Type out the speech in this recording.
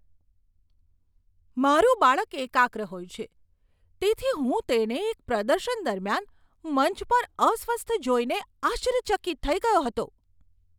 મારું બાળક એકાગ્ર હોય છે, તેથી હું તેને એક પ્રદર્શન દરમિયાન મંચ પર અસ્વસ્થ જોઈને આશ્ચર્યચકિત થઈ ગયો હતો.